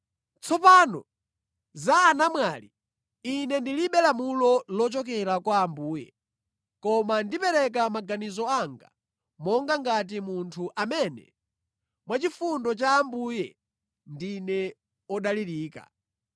Tsopano za anamwali: Ine ndilibe lamulo lochokera kwa Ambuye, koma ndipereka maganizo anga monga ngati munthu amene mwachifundo cha Ambuye ndine wodalirika.